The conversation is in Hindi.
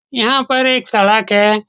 यहाँ पर एक सड़क है।